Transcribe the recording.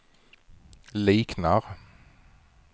liknar